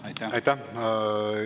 Aitäh!